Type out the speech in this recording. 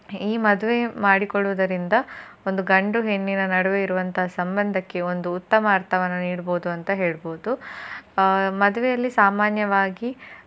ಈ ಮದುವೆ ಮಾಡಿಕೊಳ್ಳುವದರಿಂದ ಒಂದು ಗಂಡು ಹೆಣ್ಣಿನ ನಡುವೆ ಇರುವಂತ ಸಂಬಂಧಕ್ಕೆ ಒಂದು ಉತ್ತಮ ಅರ್ಥವನ್ನು ನೀಡಬಹುದು ಅಂತ ಹೇಳ್ಬೋದು. ಆ ಮದುವೆಯಲ್ಲಿ ಸಾಮಾನ್ಯವಾಗಿ